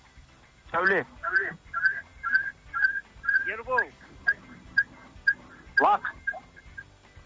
сауле ербол лақ